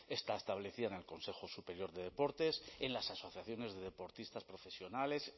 está establecida en el consejo superior de deportes en las asociaciones de deportistas profesionales